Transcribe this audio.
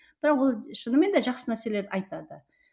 бірақ ол шынымен де жақсы нәрселер айтады